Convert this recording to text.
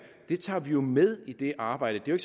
tager vi det med i det arbejde det er